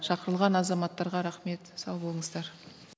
шақырылған азаматтарға рахмет сау болыңыздар